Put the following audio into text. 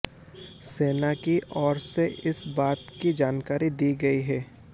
सेना की ओर से इस बात की जानकारी दी गई है